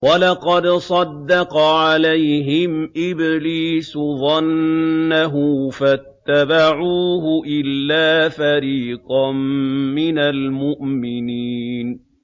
وَلَقَدْ صَدَّقَ عَلَيْهِمْ إِبْلِيسُ ظَنَّهُ فَاتَّبَعُوهُ إِلَّا فَرِيقًا مِّنَ الْمُؤْمِنِينَ